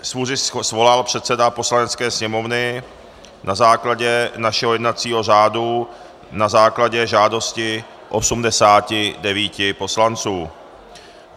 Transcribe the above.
Schůzi svolal předseda Poslanecké sněmovny na základě našeho jednacího řádu na základě žádosti 89 poslanců.